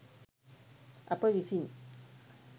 අප විසින්